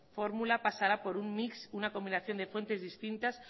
fórmula pasará por un mix una combinación de fuentes distintas